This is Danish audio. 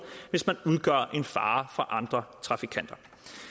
hvis man udgør en fare for andre trafikanter